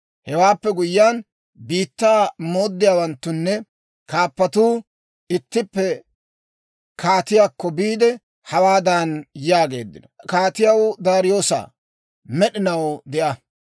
Hewaappe guyyiyaan, biittaa mooddiyaawanttunne kaappatuu ittippe kaatiyaakko biide, hawaadan yaageeddino; «Kaatiyaw Daariyoosaa, med'inaw de'a!